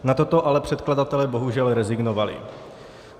Na toto ale předkladatelé bohužel rezignovali.